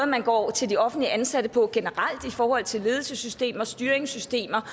man går til de offentligt ansatte på generelt i forhold til ledelsessystemer og styringssystemer